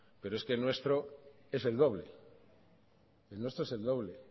pero es que el nuestro es el doble